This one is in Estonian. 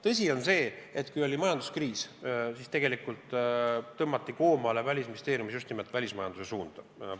Tõsi on see, et kui oli majanduskriis, siis tõmmati Välisministeeriumis koomale just nimelt välismajanduse suunda.